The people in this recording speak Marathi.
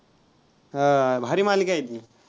हा भारी मालिका आहे ती.